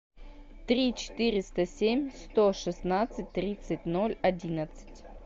три четыреста семь сто шестнадцать тридцать ноль одиннадцать